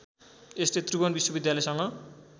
यसले त्रिभुवन विश्वविद्यालयसँग